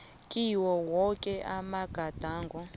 kiwo woke amagadango